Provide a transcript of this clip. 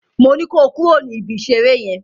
Moní kó kúrò ní ibi ìṣeré yen!